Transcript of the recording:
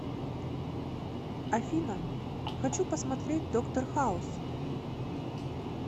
афина хочу посмотреть доктор хауз